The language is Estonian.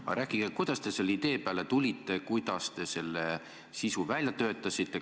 Aga rääkige, kuidas te selle idee peale tulite, kuidas te selle sisu välja töötasite.